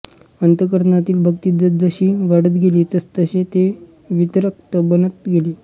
अंतःकरणातील भक्ती जसजशी वाढत गेली तसतसे ते विरक्त बनत गेले